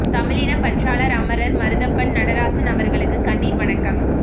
தமிழினப் பற்றாளர் அமரர் மருதப்பன் நடராசன் அவர்களுக்கு கண்ணீர் வணக்கம்